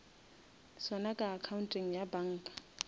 sona ka accounteng ya banka